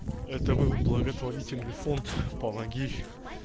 это был благотворительный фонд помоги